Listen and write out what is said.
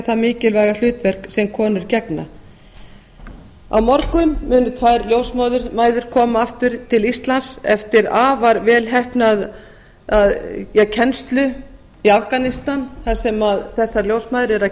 það mikilvæga hlutverk sem konur gegna á morgun koma ljósmæður aftur til íslands eftir afar velheppnaða kennslu í afganistan þar sem þessar ljósmæður eru að